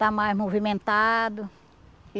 Está mais movimentado.